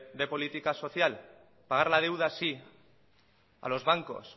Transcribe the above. de política social pagar la deuda sí a los bancos